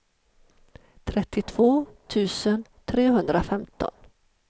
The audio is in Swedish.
trettiotvå tusen trehundrafemton